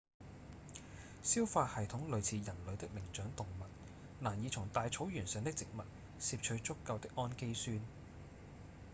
消化系統類似人類的靈長動物難以從大草原上的植物攝取足夠的胺基酸